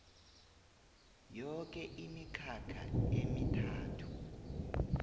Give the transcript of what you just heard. yoke imikhakha emithathu